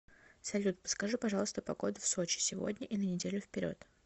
салют подскажи пожалуйста погоду в сочи сегодня и на неделю вперед